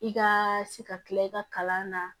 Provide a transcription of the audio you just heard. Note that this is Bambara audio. I ka se ka tila i ka kalan na